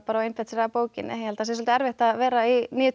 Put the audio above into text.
og einbeitt sér að bókinni ég held að það sé svolítið erfitt að vera í níu til